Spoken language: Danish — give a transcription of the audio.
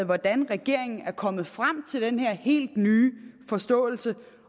hvordan regeringen er kommet frem til den her helt nye forståelse